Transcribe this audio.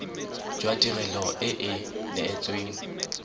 jwa tirelo e e neetsweng